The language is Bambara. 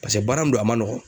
Paseke baara mun do a man nɔgɔn.